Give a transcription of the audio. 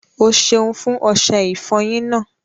Ọ́ sẹun fún ọṣẹ̀ ìfọ́yín náà.